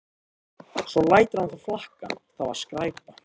Svo lætur hann það flakka: Það var skræpa